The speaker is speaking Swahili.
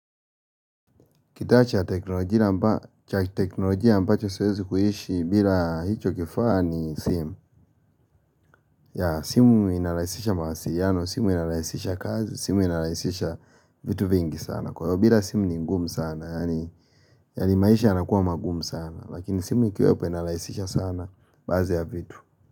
Kitaa cha ya teknolojia ambacho siwezi kuishi bila hicho kifaa ni simu. Ya simu inarahisisha mawasiliano, simu inarahisisha kazi, simu inarahisisha vitu vingi sana. Kwa hiyo bila simu ni ngumu sana, yani yani maisha yanakuwa magumu sana. Lakini simu ikiwepo inarahisisha sana baadhi ya vitu.